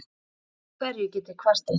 Yfir hverju get ég kvartað?